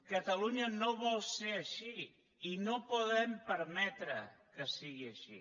catalunya no vol ser així i no podem permetre que sigui així